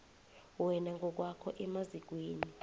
wena ngokwakho emazikweni